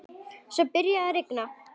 Svo byrjaði að rigna.